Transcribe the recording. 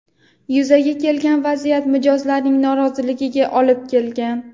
Yuzaga kelgan vaziyat mijozlarning noroziligiga olib kelgan.